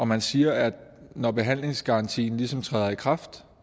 man siger at når behandlingsgarantien ligesom træder i kraft